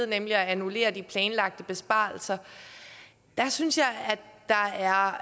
nemlig at annullere de planlagte besparelser synes jeg at der er